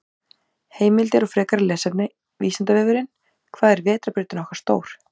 Heimildir og frekara lesefni: Vísindavefurinn: Hvað er vetrarbrautin okkar stór?